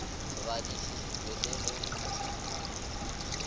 badišiši tšwe le go ntšwa